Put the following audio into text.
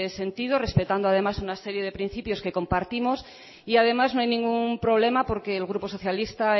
sentido respetando además una serie de principios que compartimos y además no hay ningún problema porque el grupo socialista